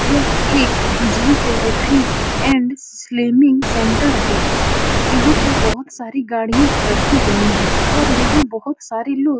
यह एक physiotherapy and slimming centre है। यहाँ पे बोहोत सारी गाड़ियां रखी गई हैं और यहाँ बोहोत सारे लोग --